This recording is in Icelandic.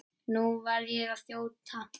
Nú verð ég að þjóta.